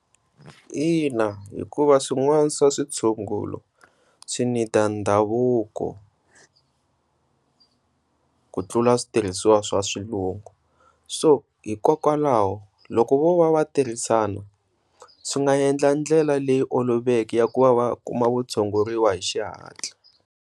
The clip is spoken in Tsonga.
Ina, hikuva swin'wana swa switshungulo swi need ndhavuko ku tlula switirhiswa swa swilungu, so hikokwalaho loko vo va tirhisana swi nga endla ndlela leyi oloveke ya ku va va kuma kutshunguriwa hi xihatla.